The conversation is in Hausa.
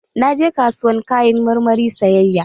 Naje kasuwar Kayan marmari sayayya.